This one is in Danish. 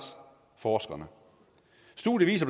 forskerne studiet